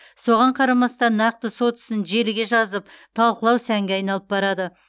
соған қарамастан нақты сот ісін желіге жазып талқылау сәнге айналып барады